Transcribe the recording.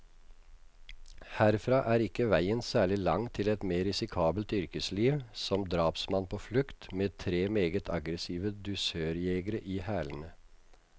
Herfra er ikke veien særlig lang til et mer risikabelt yrkesliv, som drapsmann på flukt, med tre meget aggressive dusørjegere i hælene.